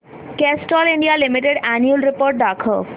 Castrol India limited annual report दाखव